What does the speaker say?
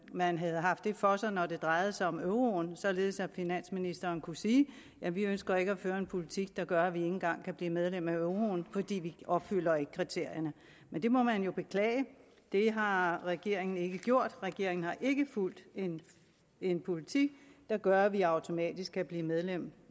man havde haft det for sig når det drejede sig om euroen således at finansministeren kunne sige at vi ikke ønsker at føre en politik der gør at vi ikke engang kan blive medlem af euroen fordi vi opfylder kriterierne men det må man jo beklage det har regeringen ikke gjort regeringen har ikke fulgt en politik der gør at vi automatisk kan blive medlem